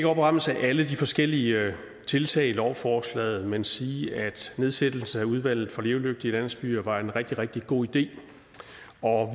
opremse alle de forskellige tiltag i lovforslaget men sige at nedsættelsen af udvalget for levedygtige landsbyer var en rigtig rigtig god idé